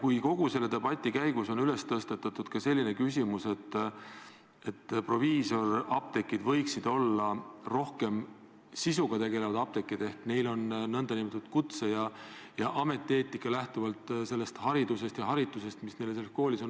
Teiseks, kogu selle debati käigus on tõstatatud selline küsimus, et proviisorapteegid võiksid tegeleda rohkem sisuga, sest proviisoritel on oma kutse- ja ametieetika, neile on koolis antud haridus ja haritus.